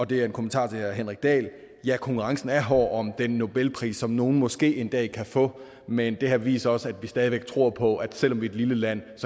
det er en kommentar til herre henrik dahl om at ja konkurrencen er hård om den nobelpris som nogle måske en dag kan få men det her viser også at vi stadig væk tror på at selv om vi er et lille land